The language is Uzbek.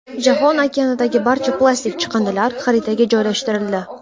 Jahon okeanidagi barcha plastik chiqindilar xaritaga joylashtirildi.